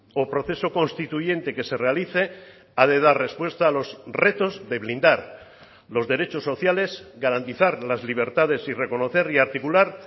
o proceso constituyente que se realice ha de dar respuesta a los retos de blindar los derechos sociales garantizar las libertades y reconocer y articular